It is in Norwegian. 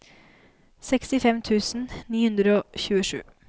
sekstifem tusen ni hundre og tjuesju